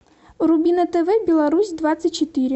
вруби на тв беларусь двадцать четыре